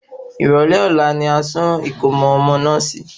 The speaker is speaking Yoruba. Ìrọ̀lẹ́ ọ̀la ni a sùn ìkómo ọmọ náà sì í